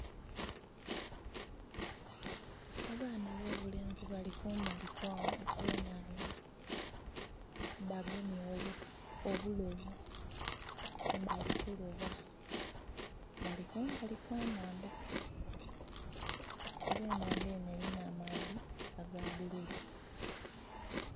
Abaana abobulenzi bali kumbali okw'enhandha. Bagemye obuti, obulobu, bali kuloba. Bali kumbali kwa nhandha. Era enhandha enho elina amaadhi aga bululu.